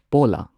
ꯄꯣꯂꯥ